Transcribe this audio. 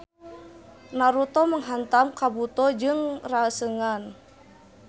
Naruto menghantam Kabuto jeung Rasengan.